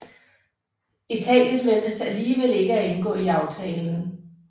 Italien ventes alligevel ikke at indgå i aftalen